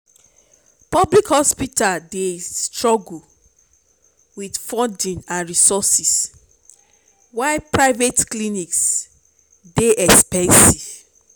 public hospitals dey struggle with funding and resources while private clinics dey expensive.